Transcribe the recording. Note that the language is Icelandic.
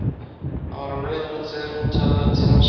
Hann var á leið út þegar hún talaði til hans.